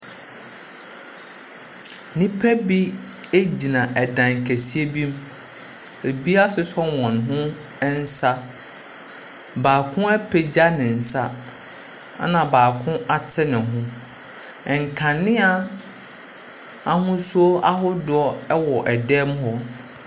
Nnipa bi egyina ɛdan kɛseɛ bi mu. Ebi asosɔ wɔn ho nsa. Baako apagya ne nsa. Ɛna baako ate ne ho. Nkanea ahosuo ahodoɔ ɛwɔ ɛdan mu hɔ.